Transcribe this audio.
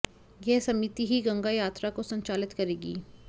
यह समिति ही गंगा यात्रा को संचालित करेगी